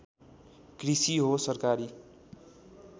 कृषि हो सरकारी